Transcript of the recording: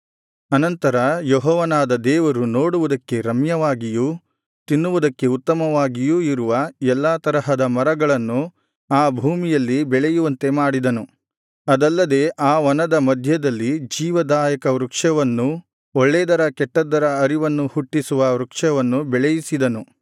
ಆನಂತರ ಯೆಹೋವನಾದ ದೇವರು ನೋಡುವುದಕ್ಕೆ ರಮ್ಯವಾಗಿಯೂ ತಿನ್ನುವುದಕ್ಕೆ ಉತ್ತಮವಾಗಿಯೂ ಇರುವ ಎಲ್ಲಾ ತರಹದ ಮರಗಳನ್ನು ಆ ಭೂಮಿಯಲ್ಲಿ ಬೆಳೆಯುವಂತೆ ಮಾಡಿದನು ಅದಲ್ಲದೆ ಆ ವನದ ಮಧ್ಯದಲ್ಲಿ ಜೀವದಾಯಕ ವೃಕ್ಷವನ್ನೂ ಒಳ್ಳೇದರ ಕೆಟ್ಟದ್ದರ ಅರಿವನ್ನು ಹುಟ್ಟಿಸುವ ವೃಕ್ಷವನ್ನು ಬೆಳೆಯಿಸಿದನು